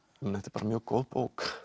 bara mjög góð bók